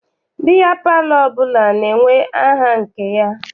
Biya palọ ọbụla na-enwe aha nke ya.